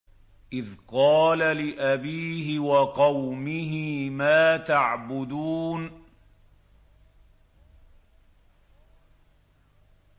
إِذْ قَالَ لِأَبِيهِ وَقَوْمِهِ مَا تَعْبُدُونَ